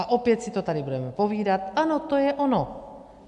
A opět si to tady budeme povídat: Ano, to je ono.